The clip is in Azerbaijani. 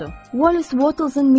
Wallace Wattles.